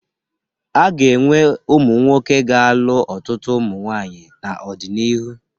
A ga-enwe ụmụnwoke ga-alụ ọtụtụ ụmụ nwaanyị n'ọdịnihu